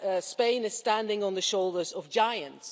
Spain is standing on the shoulders of giants.